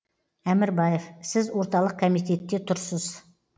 әмірбаев сіз орталық комитетте тұрсыз